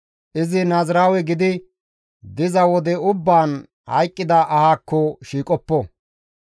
Izi naaziraawe gidi diza wode ubbaan hayqqida ahaakko shiiqoppo.